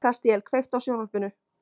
Kastíel, kveiktu á sjónvarpinu.